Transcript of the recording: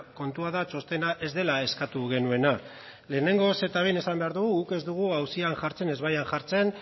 kontua da txostena ez dela eskatu genuena lehenengoz eta behin esan behar dugu guk ez dugu auzian jartzen ezbaian jartzen